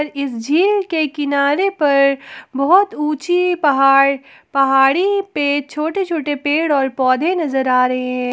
इस झील के किनारे पर बहुत ऊंची पहाड़ पहाड़ी पे छोटे छोटे पेड़ और पौधे नजर आ रहे हैं।